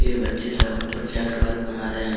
ये बच्चे सब प्रोजेक्ट वर्क बना रहे हैं।